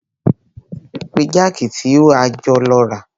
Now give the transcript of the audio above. O ti gbàgbé jákì tí a jọ lọ rà.